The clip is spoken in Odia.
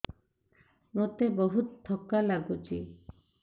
ମୋତେ ବହୁତ୍ ଥକା ଲାଗୁଛି